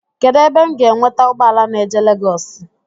Kedụ ebe m ga enweta ụgbọala na-eje Legoosi?